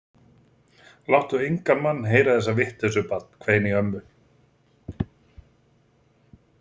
Láttu engan mann heyra þessa vitleysu barn hvein í ömmu.